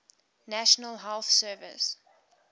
national health service